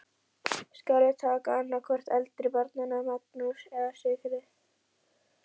Skal ég taka annað hvort eldri barnanna, Magnús eða Sigríði.